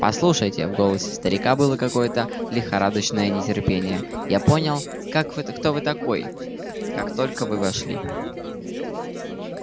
послушайте в голосе старика было какое-то лихорадочное нетерпение я понял как вы кто вы такой как только вы вошли